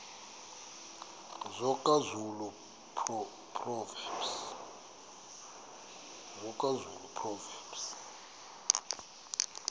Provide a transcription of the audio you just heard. soga zulu proverbs